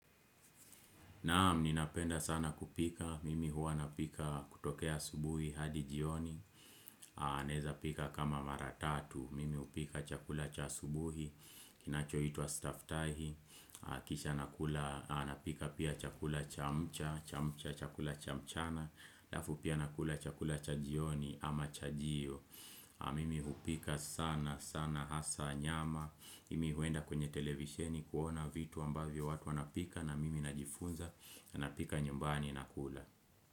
Naam, ninapenda sana kupika, mimi huwa napika kutokea asubuhi hadi jioni, naeza pika kama mara tatu, mimi hupika chakula cha asubuhi, kinachoitwa staftahi, kisha napika pia chakula cha mcha, cha mcha, chakula cha mchana, alafu pia nakula chakula cha jioni ama chajio. Mimi hupika sana sana hasa nyama mi huenda kwenye televisheni kuona vitu ambavyo watu wanapika na mimi najifunza na napika nyumbani na kula.